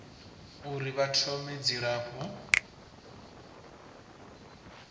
uri vha thome na dzilafho